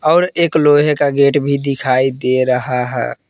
और एक लोहे का गेट भी दिखाई दे रहा है।